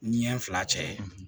Ni n fila cɛ